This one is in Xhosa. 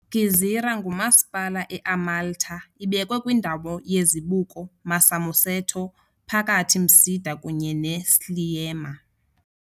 Gżira ngumasipala eMalta ibekwe kwindawo yezibuko Marsamusetto phakathi Msida kunye Sliema.